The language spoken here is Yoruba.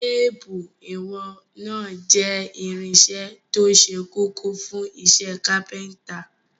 Téépù ìwọ̀n náà jẹ́ irinṣẹ́ tó ṣe kókó fún iṣẹ́ kápẹ́ńtà.